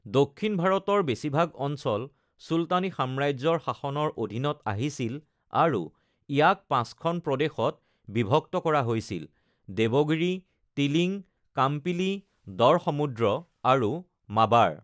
দক্ষিণ ভাৰতৰ বেছিভাগ অঞ্চল চুলতানী সাম্ৰাজ্যৰ শাসনৰ অধীনত আহিছিল আৰু ইয়াক পাঁচখন প্ৰদেশত বিভক্ত কৰা হৈছিল-দেৱগিৰী, টিলিং, কাম্পিলি, দৰসমুদ্ৰ আৰু মাবাৰ।